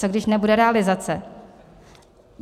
Co když nebude realizace?